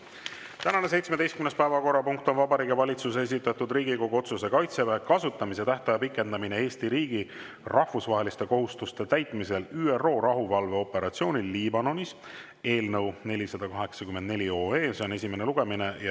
Tänane 17. päevakorrapunkt on Vabariigi Valitsuse esitatud Riigikogu otsuse "Kaitseväe kasutamise tähtaja pikendamine Eesti riigi rahvusvaheliste kohustuste täitmisel ÜRO rahuvalveoperatsioonil Liibanonis" eelnõu 484 esimene lugemine.